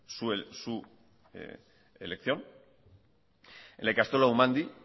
su elección en la ikastola umandi